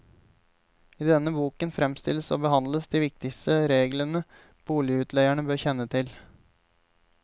I denne boken fremstilles og behandles de viktigste reglene boligutleiere bør kjenne til.